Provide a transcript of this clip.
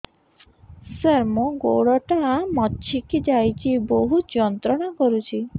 ସାର ମୋର ଗୋଡ ଟା ମଛକି ଯାଇଛି ବହୁତ ଯନ୍ତ୍ରଣା କରୁଛି